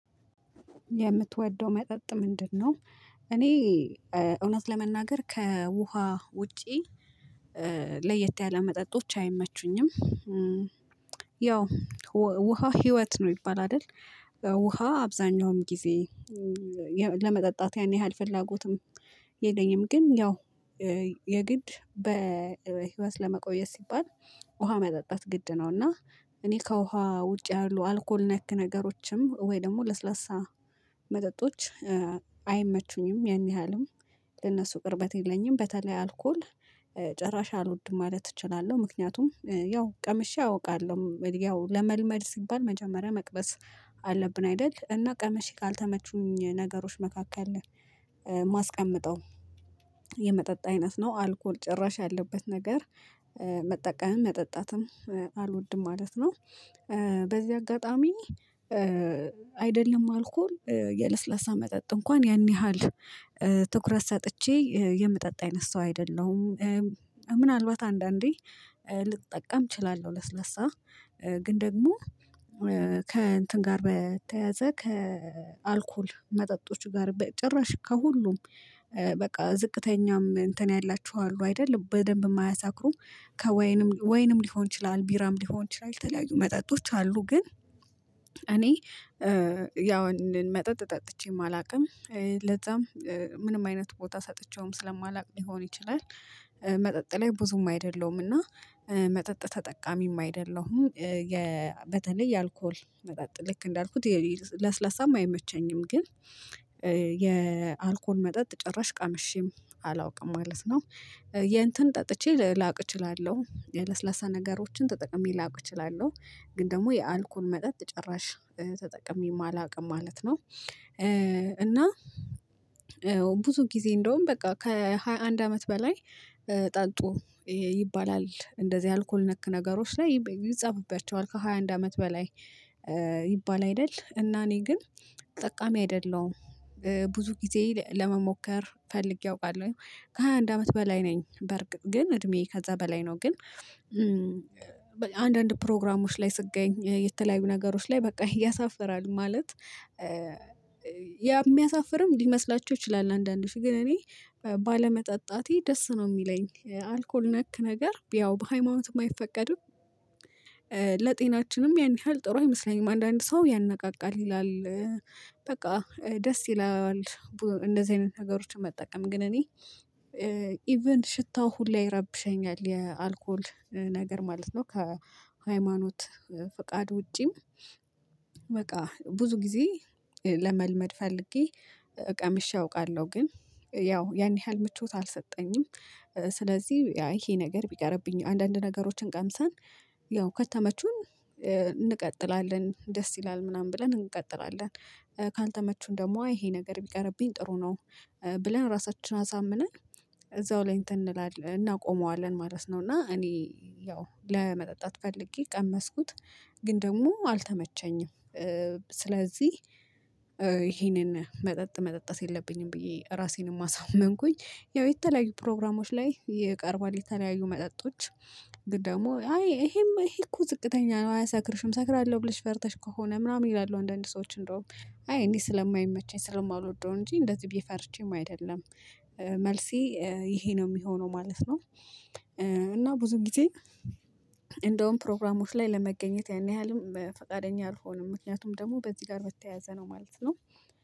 የምትወደው መጠጥ ምንድነው? እኔ እውነት ለመናገር ከውሃ ውጪ ለየት ያለ መጠጦች አይመቹኝም። ያው ውሃ ህይወት ነው ይባላል አይደል? ውሃ አብዛኛውም ጊዜ ለመጠጣት ያን ያህል ፍላጎትም የለኘም ግን ያው የግድ በህይወት ለመቆየት ሲባል ውሃ መጠጣት ግድ ነው። እና እኔ ከውሃ ውጭ ያሉ አልኮል ነክ ነገሮችም ወይ ደግሞ ለስላሳ መጠጦች አይመቹኝም። ያን ያህልም ለነሱ ቅርበት የለኝም በተለይ አልኮል ጭራሽ አልወድም ማለት እችላለሁ። ምክንያቱም ያው ቀምሼ አውቃለሁ ያው ለመልመድ ሲባል መጀመሪያ መቅመስ አለብን አይደል? እና ቀምሼ ካልተመቹኝ ነገሮች መካከል ማስቀመጠው የመጠጥ አይነት ነው። አልኮል ጭራሽ ያለበት ነገር መጠቀምም መጠጣትም አልወድም ማለት ነው። በዚህ አጋጣሚ አይደለም አልኮል የለስለሳ መጠጥ እንኳን ያን ያህል ትኩረት ሰጥቼ የምጠጣ አይነት ሰው አይደለሁም። ምናልባት አንዳንዴ ልጠቀም እችላለሁ። ለስለሳ ግን ደግሞ ከእንትን ጋር በተያያዘ ከአልኮል መጠጦች ጋር በጭራሽ ከሁሉም በቃ ዝቅተኛም እንትን ያላችሁ አሉ አይደል? በደንብ የማያሳክሩም ከወይንም ወይንም ሊሆን ይችላል ቢራም ሊሆን ይችላል የተለያዩ መጠጦች አሉ። ግን እኔ ያው መጠጥ ጠጥቼም አላውቅም። ለዛም ምንም አይነት ቦታ ሰጥቼውም ስለማላውቅ ሊሆን ይችላል። መጠጥ ላይ ብዙም አይደለሁምና መጠጥ ተጠቃሚም አይደለሁም። በተለይ የአልኮል መጠጥ ልክ እንዳልኩት ለስላሳም አይመቸኝም ግን የአልኮል መጠጥ ጭራሽ ቀምሼም አላውቅም ማለት ነው። የእንትን ጠጥቼ ላቅ እችላለሁ የለስላሳ ነገሮችን ተጠቅሜ ላውቅ እችላለሁ። ግን ደግሞ የአልኮል መጠጥ ጭራሽ ተጠቅሜ አላውቅም ማለት ነው። እና ብዙ ጊዜ እንደውም በቃ ከሃያ አንድ አመት በላይ ጠጡ ይባላል። እንደዚህ አልኮል ነክ ነገሮች ላይ ይጻፍብባቸዋል ከሃያ አንድ አመት በላይ ይባል አይደል? እና እኔ ግን ተጠቃሚ አይደለሁም። ብዙ ጊዜ ለመሞከር ፈልጌ አውቃለሁ። ከሃያ አንድ አመት በላይ ነኝ በርግጥ ግን እድሜዬ ከዛ በላይ ነው ግን። አንዳንድ ፕሮግራሞች ላይ ስገኝ የተለያዩ ነገሮች ላይ በቃ ያሳፍራል ማለት የሚያሳፍርም ሊመስላቸው ይችላል አንዳንዶች ግን እኔ ባለመጠጣቴ ደስ ነው የሚለኝ አልኮል ነክ ነገር ያው በሃይማኖት አይፈቀድም። ለጤናችንም ያን ያህል ጥሩ አይመስለኝም አንዳንድ ሰው ያነቃቃል ይላል። በቃ ደስ ይላል። እንደዚህ አይነት ሀገሮችን መጠቀም ግን እኔ ኢቭን ሽታው ሁላ ይረብሸኛል የአልኮል ነገር ማለት ነው። ከሃይማኖት ፍቃድ ውጪም። በቃ ብዙ ጊዜ ለመልመድ ፈልጌ ቀምሼ አውቃለሁ ግን ያው ያን ያህል ምቾት አልሰጠኝም። ስለዚህ ይሄ ነገር ቢቀርብኝ አንዳንድ ነገሮችን ቀምሰን ያው ከተመቹን እንቀጥላለን ደስ ይላል ምናምን ብለን እንቀጥላለን። ካልተመቹን ደግሞ ይሄ ነገር ቢቀርብኝ ጥሩ ነው። ብለን ራሳችንን አሳምነን እዛው ላይ እንትን እናቆመዋለን ማለት ነው። እና እኔ ያው ለመጠጣት ፈልጌ ቀመስኩት ግን ደግሞ አልተመቸኝም። ስለዚህ ይሄንን መጠጥ መጠጣት የለብኝም ብዬ ራሴንም አሳመንኩኝ። ያው የተለያዩ ፕሮግራሞች ላይ ይቀርባል የተለያየ መጠጦች። ግን ደግሞ አይ ይሄማ ይሄ እኮ ዝቅተኛ ነው። አያሰክርሽም እሰክራለሁ ብለሽ ፈርተሽ ከሆነ ምናምን ይላሉ አንዳንድ ሰዎች እንደውም አይ እኔ ስለማይመቸኝ ስለማልወደው እንጂ እንደዚህ ብዬ ፈርቼም አይደለም። መልሴ ይሄ ነው የሚሆነው ማለት ነው። እና ብዙ ጊዜ እንደውም ፕሮግራሞች ላይ ለመገኘት ያን ያህልም ፈቃደኛ አልሆንም ምክንያቱም ደግሞ በዚህ ጋር በተያያዘ ነው ማለት ነው።